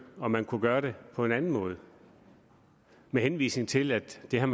om man kunne gøre det på en anden måde med henvisning til at det har